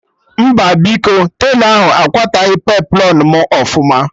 Mba biko, telọ ahụ akwataghi peplọn mụ ọfụma